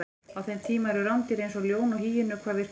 á þeim tíma eru rándýr eins og ljón og hýenur hvað virkust